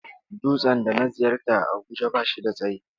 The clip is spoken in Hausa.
Dutsen da na ziyarta a Abuja ba shi da tsayi.